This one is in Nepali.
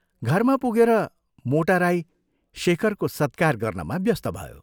घरमा पुगेर मोट राई शेखरको सत्कार गर्नमा व्यस्त भयो।